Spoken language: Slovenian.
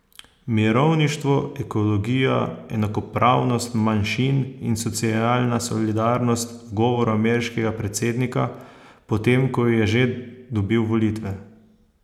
Mirovništvo, ekologija, enakopravnost manjšin in socialna solidarnost v govoru ameriškega predsednika, potem ko je že dobil volitve?